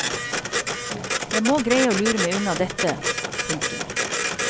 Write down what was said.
Jeg må greie å lure meg unna dette. punktum